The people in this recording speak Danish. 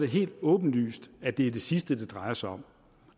helt åbenlyst at det er det sidste det drejer sig om